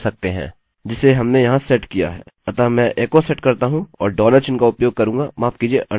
अतः मैं echo set करता हूँ और डॉलर चिन्ह का उपयोग करूँगा माफ कीजिये अन्डर्स्कोर कुकी